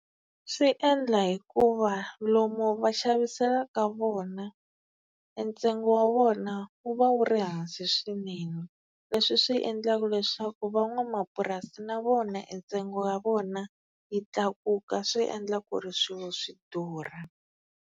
Swi endla hikuva lomu va xaviselaka vona e ntsengo wa vona wu va wu ri hansi swinene. Leswi swi endlaka leswaku van'wamapurasi na vona e ntsengo wa vona yi tlakuka swi endla ku ri swilo swi durha.